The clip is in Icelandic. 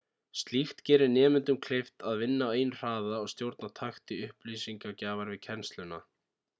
slíkt gerir nemendum kleift að vinna á eigin hraða og stjórna takti upplýsingagjafar við kennsluna